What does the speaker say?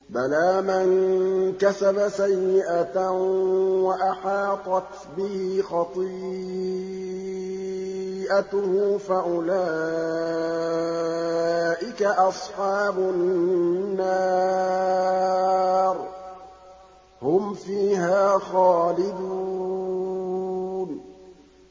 بَلَىٰ مَن كَسَبَ سَيِّئَةً وَأَحَاطَتْ بِهِ خَطِيئَتُهُ فَأُولَٰئِكَ أَصْحَابُ النَّارِ ۖ هُمْ فِيهَا خَالِدُونَ